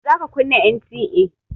Za ka kunna NTA!